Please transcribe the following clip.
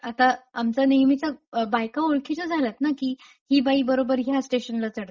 आता आमचा नेहमीचाच बायका ओळखीच्या झाल्यात ना की ही बाई बरोबर ह्या स्टेशनला चढते;